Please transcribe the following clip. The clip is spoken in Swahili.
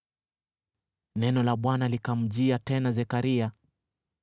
Neno la Bwana likamjia tena Zekaria: